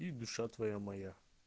и душа твоя моя